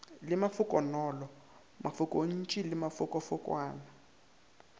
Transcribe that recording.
le mafokonolo mafokontši le mafokofokwana